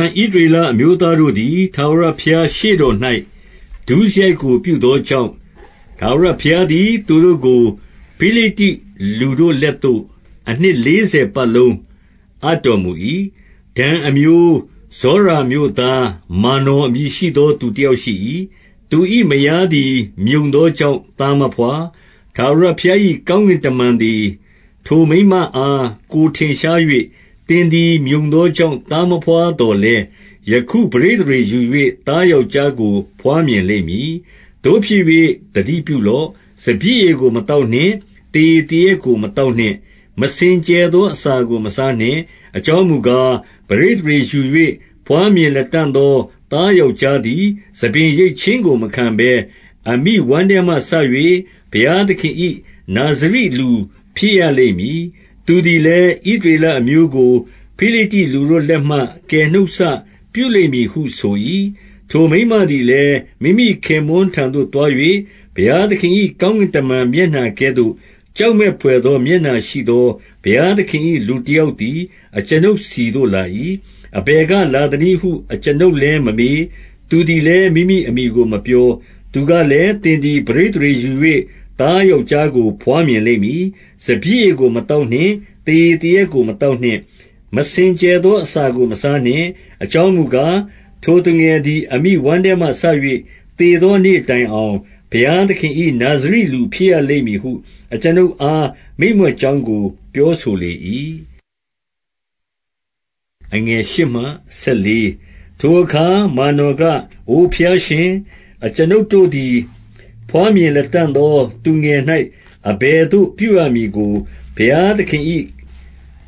န် ဣသရေလအမျိုးသားတို့သည်၊ ထာဝရဘုရားရှေ့တော်၌ ဒုစရိုက်ကို ပြုသောကြောင့်၊ ထာဝရဘုရားသည် သူတို့ကို ဖိလိတ္တိလူတို့လက်သို့ အနှစ်လေးဆယ်ပတ်လုံးအပ်တော်မူ၏။ 2 ဒန်အမျိုး၊ ဇောရာမြို့သား မာနော်အမည်ရှိသော သူတယောက်ရှိ၏။ သူ၏မယားသည် မြုံသော ကြောင့် သားမဘွား။ 3 ထာဝရဘုရား၏ကောင်းကင်တမန်သည် ထိုမိန်းမအား ကိုယ်ထင်ရှား၍၊ သင်သည် မြုံသောကြောင့် သားမဘွားသော်လည်း၊ ယခု ပဋိသန္ဓေယူ၍ သားယောက်ျားကို ဘွားမြင်လိမ့်မည်။ 4 သို့ဖြစ်၍ သတိပြုလော့။ စပျစ်ရည်ကို မသောက်နှင့်။ သေရည်သေရက်ကို မသောက်နှင့်။ မစင်ကြယ်သော အစာကို မစားနှင့်။ 5 အကြောင်းမူကား၊ ပဋိသန္ဓေယူ၍ ဘွားမြင်လတံ့သော သားယောက်ျားသည် ဆံပင်ရိတ်ခြင်းကို မခံဘဲ၊ အမိဝမ်းထဲမှစ၍ ဘုရားသခင်၏ နာဇရိလူဖြစ်ရလိမ့်မည်။ သူသည်လည်း ဣသရေလအမျိုးကို ဖိလိတ္တိလူတို့လက်မှ ကယ်နှုတ်စပြုလိမ့်မည်ဟု ဆို၏။ 6 ထိုမိန်းမသည်လည်း မိမိခင်ပွန်းထံသို့ သွား၍ ဘုရားသခင်၏ ကောင်းကင်တမန်မျက်နှာကဲ့သို့ ကြောက်မက်ဘွယ်သော မျက်နှာရှိသော ဘုရားသခင်၏ လူတယောက်သည် အကျွန်ုပ်ဆီသို့ လာ၏။ အဘယ်ကလာသနည်းဟု အကျွန်ုပ်လည်း မမေး။ သူသည်လည်း မိမိအမည်ကို မပြော။ 7 သူကလည်း၊ သင်သည် ပဋိသန္ဓေယူ၍ သားယောက်ျားကို ဘွားမြင်လိမ့်မည်။ စပျစ်ရည်ကို မသောက်နှင့်။ သေရည်သေရက်ကို မသောက်နှင့်။ မစင်ကြယ်သော အစာကို မစားနှင့်။ အကြောင်းမူကား၊ ထိုသူငယ်သည် အမိဝမ်းထဲမှစ၍ သေသောနေ့တိုင်အောင် ဘုရားသခင်၏ နာဇရိလူဖြစ်ရလိမ့်မည်ဟု အကျွန်ုပ်အား မိန့်မြွက်ကြောင်းကို ပြောဆိုလေ၏။ 8 ထိုအခါ မာနော်က၊ အိုဘုရားရှင်၊ အကျွန်ုပ်တို့သည် ဘွားမြင်လတံ့သော သူငယ်၌ အဘယ်သို့ ပြုရမည်ကို ဘုရားသခင်၏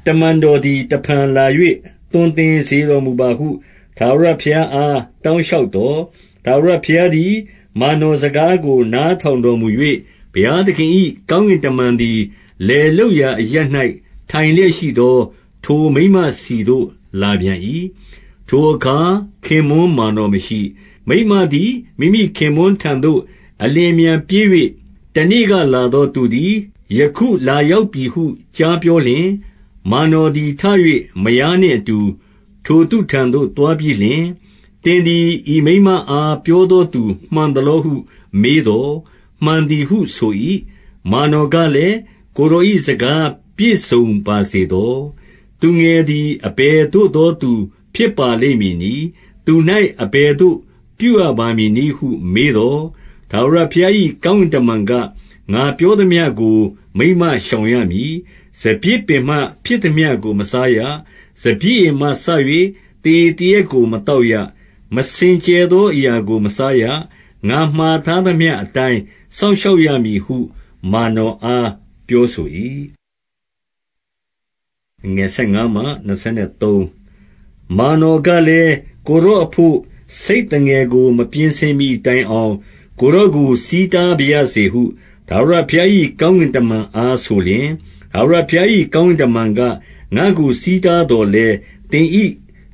တမန်တော်သည် တဖန်လာ၍ သွန်သင်စေတော်မူပါဟု ထာဝရဘုရား အား တောင်းလျှောက်သော်၊ 9 ထာဝရဘုရားသည် မာနော်စကားကို နားထောင်တော်မူ၍၊ ဘုရားသခင်၏ ကောင်းကင်တမန်သည် လယ်လုပ်ရာအရပ်၌ ထိုင်လျက်ရှိသော ထိုမိန်းမဆီသို့ လာပြန်၏။ ထိုအခါ ခင်ပွန်းမာနော်မရှိ။ 10 မိန်းမသည် မိမိခင်ပွန်းထံသို့ အလျင်အမြန်ပြေး၍၊ တနေ့ကလာသောသူသည် ယခုလာရောက်ပြီဟု ကြားပြောလျှင်၊ 11 မာနော်သည် ထ၍ မယားနှင့်အတူ ထိုသူထံသို့ သွားပြီးလျှင်၊ သင်သည် ဤမိန်းမအား ပြောသော သူမှန်သလောဟု မေးသော်၊ မှန်သည်ဟု ဆို၏။ 12 မာနော်ကလည်း၊ ကိုယ်တော်၏စကားပြည့်စုံပါစေသော။ သူငယ်သည် အဘယ်သို့သောသူ ဖြစ်ပါလိမ့်မည်နည်း။ သူ၌ အဘယ်သို့ ပြုရပါမည်နည်းဟု မေးသော်၊ 13 ထာဝရဘုရား၏ ကောင်းကင်တမန်က၊ ငါပြောသမျှကို မိန်းမရှောင်ရမည်။ 14 စပျစ်ပင်မှ ဖြစ်သမျှကို မစားရ။ စပျစ်ရည်မှစ၍ သေရည်သေရက်ကို မသောက်ရ။ မစင်ကြယ်သော အရာကို မစားရ။ ငါမှာထားသမျှအတိုင်း စောင့်ရှောက်ရမည်ဟု မာနော်အား ပြောဆို၏။ 15 မာနော်ကလည်း၊ ကိုယ်တော်အဘို့ ဆိတ်သငယ်ကို မပြင်ဆင်မှီတိုင်အောင် ကိုယ်တော်ကို ဆီးတားပါရစေဟု ထာဝရဘုရား၏ကောင်းကင်တမန်အား ဆိုလျှင်၊ 16 ထာဝရဘုရား၏ ကောင်းကင်တမန်က၊ ငါ့ကို ဆီးတားသော်လည်း သင်၏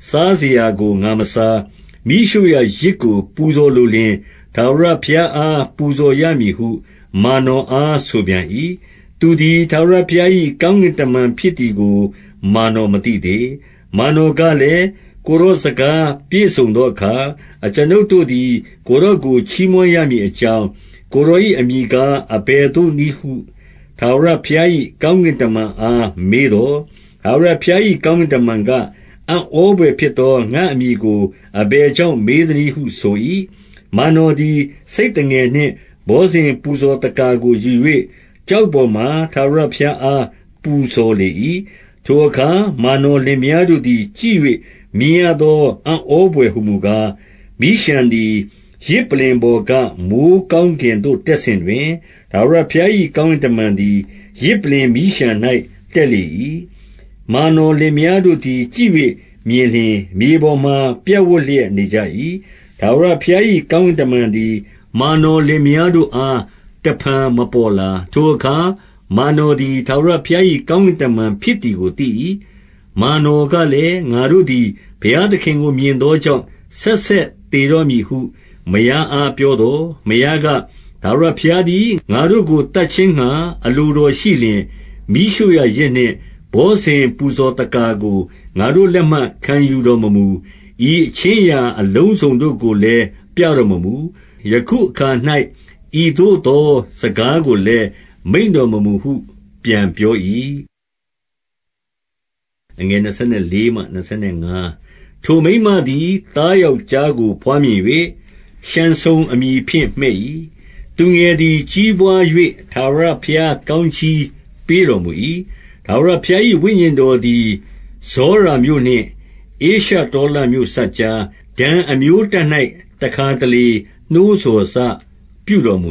စားစရာကို ငါမစား။ မီးရှို့ရာယဇ်ကို ပူဇော်လိုလျှင် ထာဝရဘုရားအား ပူဇော်ရမည်ဟု မာနော်အား ဆိုပြန်၏။ သူသည် ထာဝရဘုရား၏ ကောင်းကင်တမန်ဖြစ်သည်ကို မာနော် မသိသေး။ 17 မာနော်ကလည်း ကိုယ်တော်စကား ပြည့်စုံသောအခါ၊ အကျွန်ုပ်တို့သည် ကိုယ်တော်ကိုချီးမွမ်းရမည် အကြောင်း၊ ကိုယ်တော်၏အမည်ကား အဘယ်သို့နည်းဟု ထာဝရဘုရား၏ကောင်းကင်တမန် အား မေးသော်၊ 18 ထာဝရဘုရား၏ ကောင်းကင်တမန်က၊ အံ့ဩဘွယ်ဖြစ်သော ငါ့အမည်ကို အဘယ်ကြောင့် မေးသနည်းဟု ဆို၏။ 19 မာနော်သည် ဆိတ်သငယ်နှင့် ဘောဇဉ်ပူဇော်သက္ကာကို ယူ၍ ကျောက်ပေါ်မှာ ထာဝရဘုရားအား ပူဇော်လေ၏။ ထိုအခါ မာနော်လင်မယားတို့သည် ကြည့်၍ မြင်ရသော အံ့ဩဘွယ်ဟူမူကား၊ 20 မီးလျှံသည် ယဇ်ပလ္လင်ပေါ်က မိုဃ်းကောင်းကင်သို့ တက်စဉ်တွင်၊ ထာဝရဘုရား၏ ကောင်းကင်တမန် သည် ယဇ်ပလ္လင်မီးလျှံ၌ တက်လေ၏။ မာနော်လင်မယားတို့သည် ကြည့်၍မြင်လျှင် မြေပေါ်မှာ ပြပ်ဝပ်လျက်နေကြ၏။ 21 ထာဝရဘုရား၏ကောင်းကင်တမန်သည်၊ မာနော်လင်မယားတို့အား တဖန်မပေါ်လာ။ ထိုအခါ မာနော်သည် ထာဝရဘုရား၏ ကောင်းကင်တမန်ဖြစ်သည်ကို သိ၏။ 22 မာနော်ကလည်း၊ ငါတို့သည် ဘုရားသခင်ကို မြင်သောကြောင့်၊ ဆက်ဆက်သေတော့မည်ဟု မယားအား ပြောသော်၊ 23 မယားက၊ ထာဝရဘုရားသည် ငါတို့ကို သတ်ခြင်းငှါ အလိုတော်ရှိလျှင်၊ မီးရှို့ရာယဇ်နှင့် ဘောဇဉ် ပူဇော်သက္ကာကို ငါတို့လက်မှ ခံယူတော်မမူ။ ဤအခြင်းအရာအလုံးစုံတို့ကိုလည်း ပြတော်မမူ။ ယခုအခါ၌ ဤသို့သော စကားကိုလည်း မိန့်တော်မမူဟု ပြန်ပြော၏။ 24 ထိုမိန်းမသည် သားယောက်ျားကို ဘွားမြင်၍၊ ရှံဆုန်အမည်ဖြင့် မှည့်၏။ သူငယ်သည် ကြီးပွား၍ ထာဝရဘုရားကောင်းကြီးပေးတော်မူ၏။ 25 ထာဝရဘုရား၏ဝိညာဉ်တော်သည်၊ ဇောရာမြို့နှင့် ဧရှတောလမြို့စပ်ကြား၊ ဒန်အမျိုးတပ်၌ တခါတလေ နှိုးဆော်စပြုတော်မူ